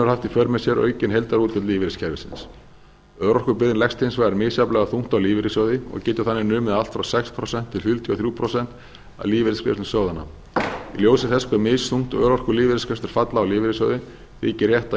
för með sér aukin heildarútgjöld lífeyriskerfisins örorkubyrðin leggst hins vegar misjafnlega þungt á lífeyrissjóði og getur þannig numið allt frá sex prósent til fjörutíu og þrjú prósent af lífeyrisgreiðslum sjóðanna í ljósi þess hve misþungt örorkulífeyrisgreiðslur falla á lífeyrissjóði þykir rétt að